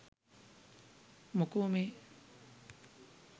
මොකෝ මේ